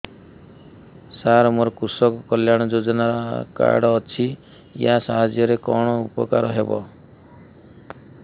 ସାର ମୋର କୃଷକ କଲ୍ୟାଣ ଯୋଜନା କାର୍ଡ ଅଛି ୟା ସାହାଯ୍ୟ ରେ କଣ ଉପକାର ହେବ